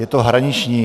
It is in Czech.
Je to hraniční.